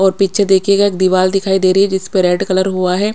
और पीछे देखिएगा एक दीवाल दिखाई दे रही है जिसपर रेड कलर हुआ है।